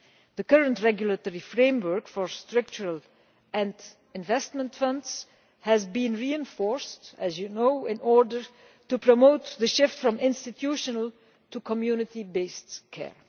The current regulatory framework for structural and investment funds has been reinforced, as you know, in order to promote the shift from institutional to community based care.